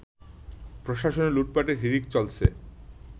প্রশাসনে লুটপাটের হিড়িক চলছে